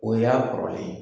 O y'a kɔrɔlen ye.